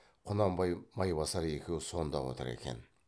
құнанбай майбасар екеуі сонда отыр екен